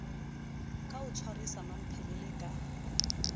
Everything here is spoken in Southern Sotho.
ka o tshwarisa mmamphele ka